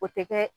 O tɛ kɛ